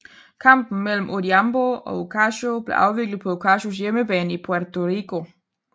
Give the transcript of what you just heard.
Kampen mellem Odhiambo og Ocasio blev afviklet på Ocasios hjemmebane i Puerto Rico